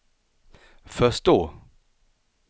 förstå